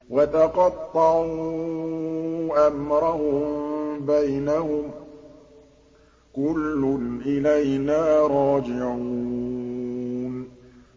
وَتَقَطَّعُوا أَمْرَهُم بَيْنَهُمْ ۖ كُلٌّ إِلَيْنَا رَاجِعُونَ